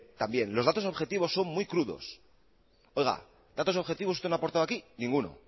también los datos objetivos son muy crudos oiga datos objetivos usted no ha aportado aquí ninguno